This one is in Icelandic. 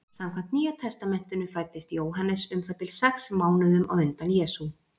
Samkvæmt Nýja testamentinu fæddist Jóhannes um það bil sex mánuðum á undan Jesú.